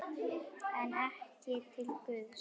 En ekki til Guðs.